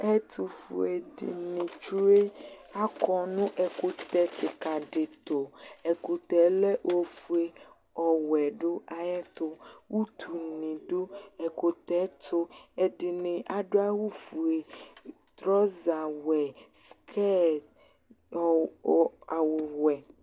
Ɛtʋfue dɩnɩ tsue. Akɔ nʋ ɛkʋtɛ kɩka dɩ tʋ. Ɛkʋtɛ yɛ lɛ ofue, ɔwɛ dʋ ayɛtʋ. Utunɩ dʋ ɛkʋtɛ yɛ tʋ. Ɛdɩnɩ adʋ awʋfue, trɔzawɛ, skɛt ɔ ɔ awʋwɛ.